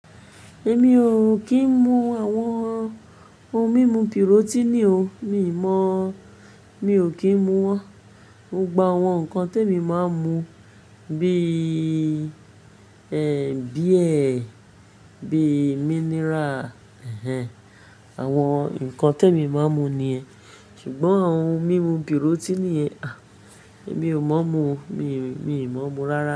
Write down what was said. Èmi ò kí ń mu àwọn ohun mímu pírótínì o, mi ò mọ̀, mi ò kí ń mu wọ́n. Gbọ gbọ àwọn nǹkan tí èmi máa ń mu bí i beer, bí i mineral, àwọn nǹkan tí èmi máa ń mu ni ẹ́. Ṣùgbọ́n àwọn ohun mímu pírótínì, àh, èmi ò mọ̀ mu, mi ò, mi ò mọ̀ mu rárá.